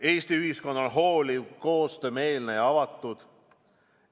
Eesti ühiskond on hooliv, koostöömeelne ja avatud.